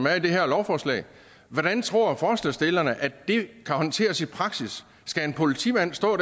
er i det her lovforslag hvordan tror forslagsstillerne at den kan håndteres i praksis skal en politimand stå